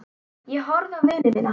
Ég horfði á vini mína.